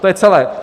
To je celé.